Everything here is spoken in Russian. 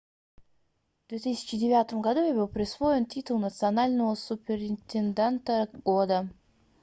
в 2009 году ей был присвоен титул национального суперинтенданта года